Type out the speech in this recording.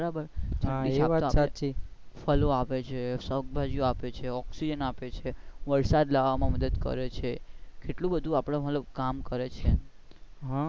બરાબર ફલો આપે છે, શાકબાજી ઓ આપે છે, ઓક્સિજન આપે છે વરસાદ લાવામાં મદદ કરે છે કેટલું બંધુ આપણું મતલબ કામ કરે છે.